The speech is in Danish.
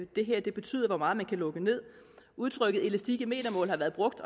det her betyder hvor meget man kan lukke nederst udtrykket elastik i metermål har været brugt